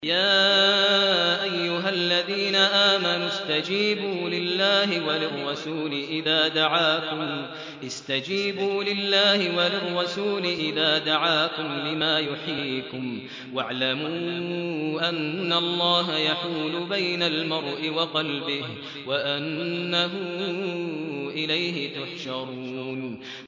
يَا أَيُّهَا الَّذِينَ آمَنُوا اسْتَجِيبُوا لِلَّهِ وَلِلرَّسُولِ إِذَا دَعَاكُمْ لِمَا يُحْيِيكُمْ ۖ وَاعْلَمُوا أَنَّ اللَّهَ يَحُولُ بَيْنَ الْمَرْءِ وَقَلْبِهِ وَأَنَّهُ إِلَيْهِ تُحْشَرُونَ